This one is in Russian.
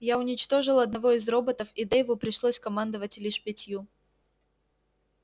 я уничтожил одного из роботов и дейву пришлось командовать лишь пятью